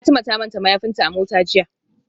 Fatima ta manta mayafinta a mota jiya